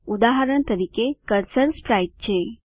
ઉદાહરણ તરીકે cursor sprite છે